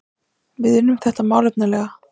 Við unnum þetta málefnalega